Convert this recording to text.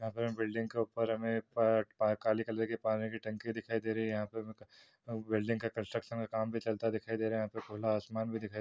यहाँ पे हम बिल्डिंग के ऊपर हमे प प काली कलर की पानी की टंकी दिखाई दे रही है। यहाँ पे हमे बिल्डिंग का कंस्ट्रक्शन काम भी चलता दिखाई दे रहा है। यहाँ पे खुला आसमान भी दिखाई --